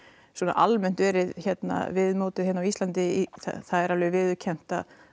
almennt verið viðmótið hérna á Íslandi það er alveg viðurkennt